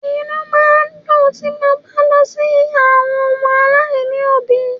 inú máa ń dùn ti mo bá lọ kí àwọn ọmọ aláìní òbí